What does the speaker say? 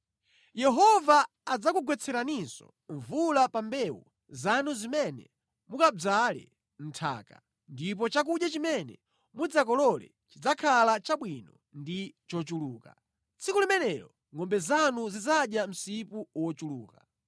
Yehova adzakugwetseraninso mvula pa mbewu zanu zimene mukadzale mʼnthaka, ndipo chakudya chimene mudzakolole chidzakhala chabwino ndi chochuluka. Tsiku limenelo ngʼombe zanu zidzadya msipu wochuluka.